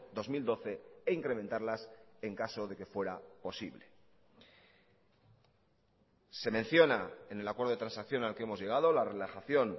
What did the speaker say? dos mil doce e incrementarlas en caso de que fuera posible se menciona en el acuerdo de transacción al que hemos llegado la relajación